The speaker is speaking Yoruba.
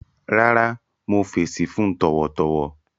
Rárá, mo fẹṣí fun tọwọtọwọ